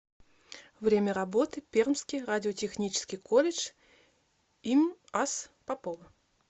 время работы пермский радиотехнический колледж им ас попова